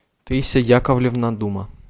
таисия яковлевна дума